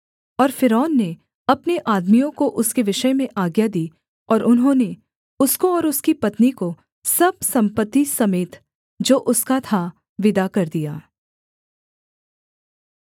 और फ़िरौन ने अपने आदमियों को उसके विषय में आज्ञा दी और उन्होंने उसको और उसकी पत्नी को सब सम्पत्ति समेत जो उसका था विदा कर दिया